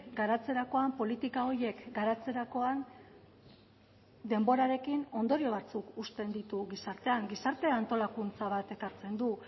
garatzerakoan politika horiek garatzerakoan denborarekin ondorio batzuk uzten ditu gizartean gizarte antolakuntza bat ekartzen du